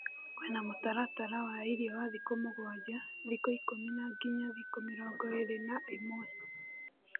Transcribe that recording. Kwĩna mũtaratara wa irĩo wa thikũmũgwanja, thikũikũmi na nginya thikũmĩrongo ĩrĩ na na ĩmwe.